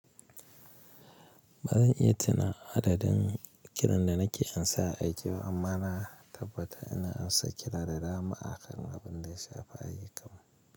Ba zan iya tuna adadin kiran da nake ansa a aiki ba amma na tabbata ina ansa kira da dama akan abin da ya shafi ayukan.